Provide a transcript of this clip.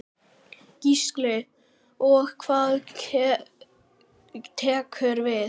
Gísli: Og hvað tekur við?